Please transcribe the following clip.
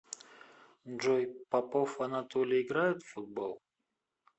джой попов анатолий играет в футбол